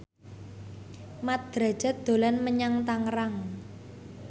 Mat Drajat dolan menyang Tangerang